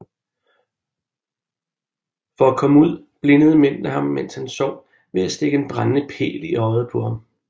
For at komme ud blindede mændene ham mens han sov ved at stikke en brændende pæl i øjet på ham